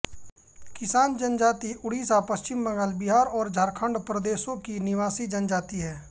किसान जनजाति उड़ीसा पश्चिम बंगाल बिहार और झारखण्ड प्रदेशों की निवासी जनजाति है